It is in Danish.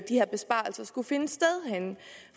her besparelser skulle findes henne